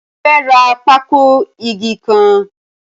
Mo fẹ́ rà pákó ìgé ń kan.